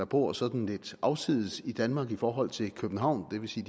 bor sådan lidt afsides i danmark i forhold til københavn det vil sige